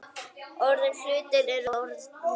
Orðnir hlutir eru orðnir.